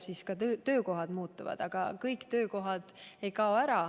Siis ka töökohad muutuvad, aga ega kõik töökohad ära ei kao.